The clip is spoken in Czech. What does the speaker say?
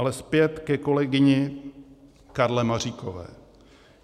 Ale zpět ke kolegyni Karle Maříkové.